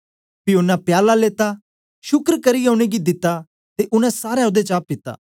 पी ओनें प्याला लेता शुक्र करियै उनेंगी दिता ते उनै सारे ओदे चा पीता